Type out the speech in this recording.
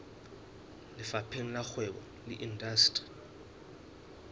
lefapheng la kgwebo le indasteri